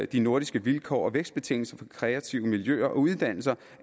de nordiske vilkår og vækstbetingelser for de kreative miljøer og uddannelser